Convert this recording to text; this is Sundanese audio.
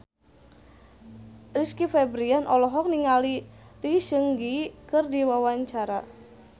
Rizky Febian olohok ningali Lee Seung Gi keur diwawancara